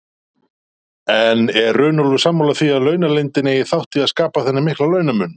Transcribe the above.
En er Runólfur sammála því að launaleynd eigi þátt í að skapa þennan mikla launamun?